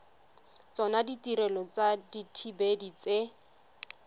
tsona ditirelo tsa dithibedi tse